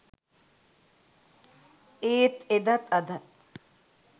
ඒත් එදත් අදත්